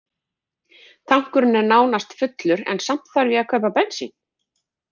Tankurinn er nánast fullur en samt þarf ég að kaupa bensín.